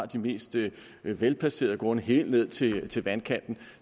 de mest velplacerede grunde helt ned til til vandkanten